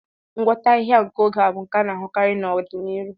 Ngwọta ahịhịa nke oge a ga-abụ nke a na-ahụkarị n'ọdịnihu.